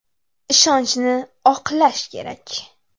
Ishonchni oqlash kerak.